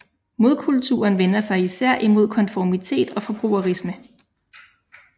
Modkulturen vender sig især imod konformitet og forbrugerisme